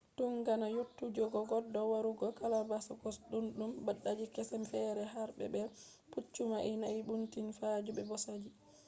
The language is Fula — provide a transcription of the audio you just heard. tundaga yottugoje goddo warugo galapagos duddum dabbaji kese fere harbe be’i pucchu na’i doinbi fatuje be bosaji